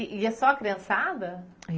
E ia só a criançada?